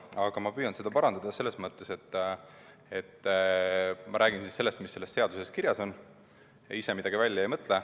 Aga ma püüan seda parandada, selles mõttes, et ma räägin sellest, mis seaduses kirjas on, ja ise midagi välja ei mõtle.